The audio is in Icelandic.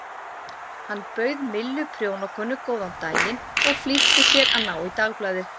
Hann bauð Millu prjónakonu góðan daginn og flýtti sér að ná í dagblaðið.